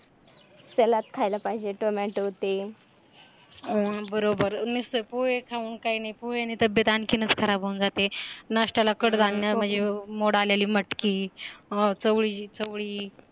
salad खायला पाहिजे TOMATO ते, अ बरोबर नुसतं पोहे खाऊन काही नाही, पोहेने तब्येत आणखीनच खराब होऊन जाते नाश्त्याला कडधान्य म्हणजे मोड आलेली मटकी चवळी चवळी